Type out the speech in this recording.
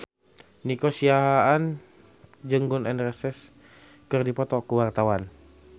Nico Siahaan jeung Gun N Roses keur dipoto ku wartawan